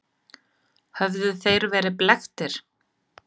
Höfðu þeir verið blekktir?